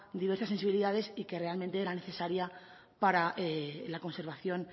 diversas sensibilidades y que realmente era necesaria para la conservación